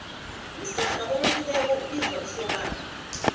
umsana owelileko ubizwa isokana